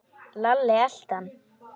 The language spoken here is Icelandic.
Lalli elti hann.